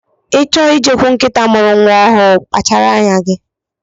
Ị chọọ i jekwuru nkịta mụrụ nwa ọhụụ, kpachara anya gị.